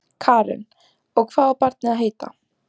Karen: Og hvað á barnið að heita?